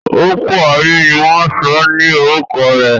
Ọ̀pọ̀ ààyè ni wọ́n sọ ní orúkọ rẹ̀.